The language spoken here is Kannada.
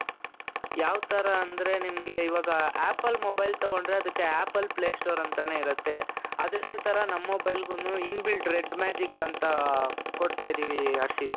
ಯಾವ್ ತರ ಅಂದ್ರೆ ನಿಮ್ಗೆ ಇವಾಗ apple mobile ತಗೊಂಡ್ರೆ ಅದುಕ್ಕೆ apple play store ಅಂತಾನೆ ಇರುತ್ತೆ, ಅದೇ ತರ ನಮ್ಮ mobileಗುನು in-built Red magic ಅಂತ ಕೊಡ್ತಾ ಇದ್ದೀವಿ ಹರ್ಷಿತ್.